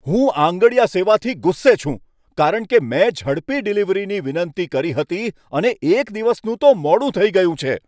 હું આંગડિયા સેવાથી ગુસ્સે છું. કારણ કે મેં ઝડપી ડિલિવરીની વિનંતી કરી હતી, અને એક દિવસનું તો મોડું થઈ ગયું છે!